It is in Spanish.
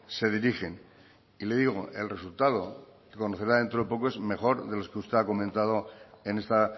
se dirigen y le digo el resultado que conocerá dentro de poco es mejor de los que usted ha comentado en esta